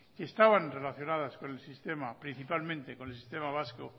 que estaban relacionadas principalmente con el sistema vasco